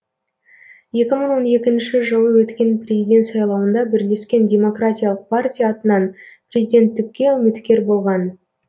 екі мың он екінші жылы өткен президент сайлауында бірлескен демократиялық партия атынан президенттікке үміткер болған